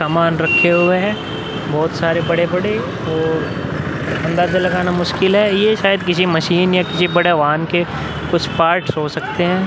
सामान रखे हुए है बहुत सारे बड़े-बड़े और अंदाजा लगाना मुश्किल है ये शायद मशीन या किसी बड़े वाहन के कुछ पार्ट्स हो सकते है।